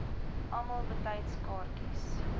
almal betyds kaartjies